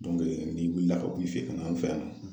n'i wilila ka b'i fɛ yen ka na an fɛ yan nɔ